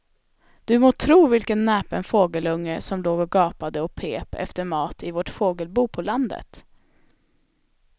Du må tro vilken näpen fågelunge som låg och gapade och pep efter mat i vårt fågelbo på landet.